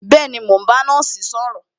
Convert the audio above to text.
Bẹẹni, mo ń bá nọ́ọ̀sì sọ̀rọ̀